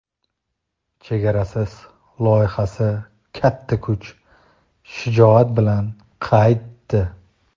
"Chegarasiz" loyihasi katta kuch va shijoat bilan qaytdi!.